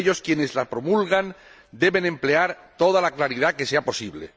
Por ello, quienes las promulgan deben emplear toda la claridad que sea posible.